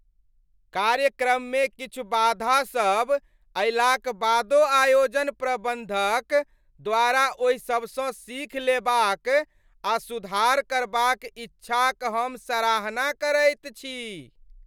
कार्यक्रममे किछु बाधा सब अयलाक बादो आयोजन प्रबन्धक द्वारा ओहि सबसँ सीख लेबाक आ सुधार करबाक इच्छाक हम सराहना करैत छी।